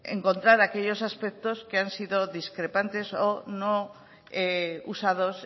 encontrar aquellos aspectos que han sido discrepantes o no usados